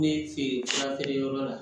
Ne fe yen furakɛli yɔrɔ la